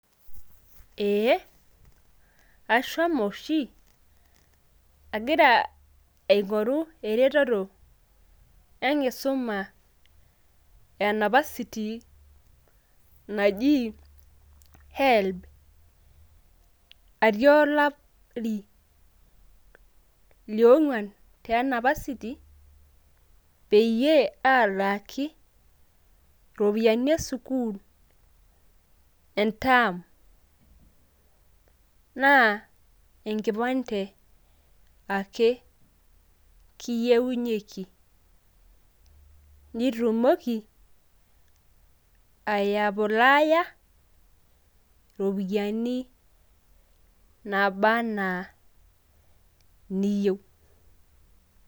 ee ashomo oshi, agira aing'oru eretoto e anapasiti naji helb. atii olari liong'uan te anapasiti, peyie alaaki iropiyiani esukuul entaam. naa enkipande ake kiyienyieki. nitumoki ayaplaaya iropiyiani naba anaa iniyieu.